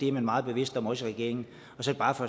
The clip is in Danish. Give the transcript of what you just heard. er meget bevidst om også i regeringen så bare for